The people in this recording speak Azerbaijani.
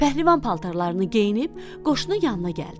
Pəhlivan paltarlarını geyinib qoşunu yanına gəldi.